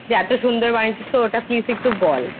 যে এত সুন্দর বানিয়েছিস তো please একটু বল।